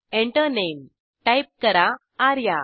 Enter Name type करा आर्या